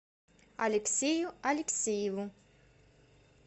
алексею алексееву